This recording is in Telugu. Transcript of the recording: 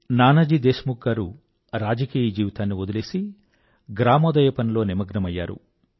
నానాజీ దేశ్ ముఖ్ గారు రాజకీయ జీవితాన్ని వదిలేసి గ్రామోదయం పనిలో నిమగ్నమయ్యారు